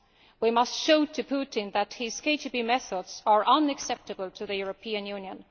We must show Putin that his KGB methods are unacceptable to the European Union.